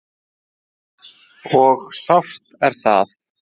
Og sárt er það.